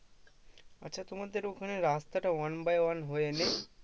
আচ্ছা তোমাদের ওখানে রাস্তাটা one by one হয়ে নেই?